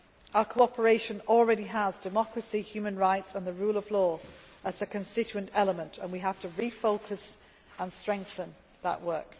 reforms. Our cooperation already has democracy, human rights and the rule of law as constituent elements and we have to refocus and strengthen